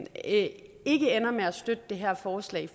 ender med at støtte det her forslag